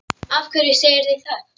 Af hverju segirðu það?